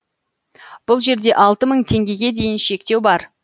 бұл жерде алты мың теңгеге дейінгі шектеу бар